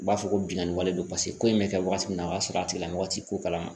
U b'a fɔ ko bingani wale do paseke ko in bɛ kɛ waati min na o y'a sɔrɔ a tigila mɔgɔ ti ko kalama